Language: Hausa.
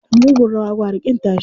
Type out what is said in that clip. Da mugun rawa gwara ƙin tashi.